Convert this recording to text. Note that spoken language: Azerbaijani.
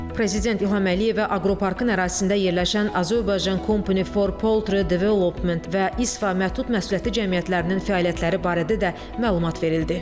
Prezident İlham Əliyevə aqroparkın ərazisində yerləşən Azorbaycan Company for Poultry Development və İSF məhdud məsuliyyətli cəmiyyətlərinin fəaliyyətləri barədə də məlumat verildi.